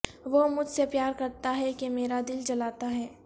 وہ مجھ سے پیار کرتا ہے کہ میرا دل جلاتا ہے